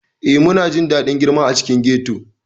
Ee, muna jin daɗin girma a cikin ghetto.